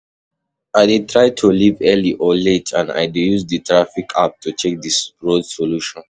I dey try to leave early or late, and i dey use di traffic app to check di road solution.